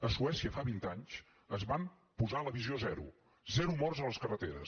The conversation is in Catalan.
a suècia fa vint anys es van posar la visió zero zero morts a les carreteres